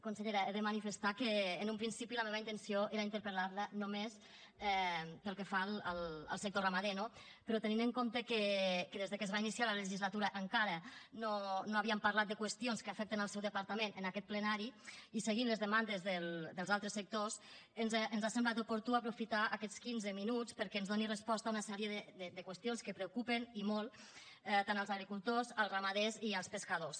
consellera he de manifestar que en un principi la meva intenció era interpel·lar la només pel que fa al sector ramader no però tenint en compte que des que es va iniciar la legislatura encara no havíem parlat de qüestions que afecten el seu departament en aquest plenari i seguint les demandes dels altres sectors ens ha semblat oportú aprofitar aquests quinze minuts perquè ens doni resposta a una sèrie de qüestions que preocupen i molt tant els agricultors els ramaders i els pescadors